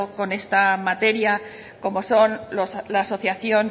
con esta materia como son la asociación